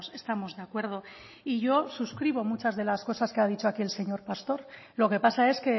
estamos de acuerdo y yo suscribo muchas de las cosas que ha dicho aquí el señor pastor lo que pasa es